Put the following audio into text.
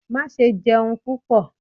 ma sé jẹun pupọ!